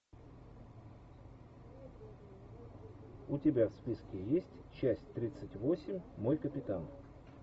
у тебя в списке есть часть тридцать восемь мой капитан